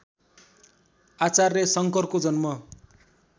आचार्य शङ्करको जन्म